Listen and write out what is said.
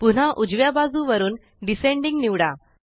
पुन्हा उजव्या बाजुवरून डिसेंडिंग निवडा